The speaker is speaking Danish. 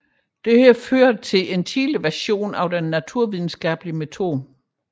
Dette ledte til en tidlig version af den naturvidenskabelige metode